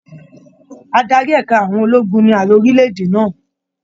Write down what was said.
Adarí ẹ̀ka àwọn ologun ní Ààrẹ orílẹ̀-èdè náà.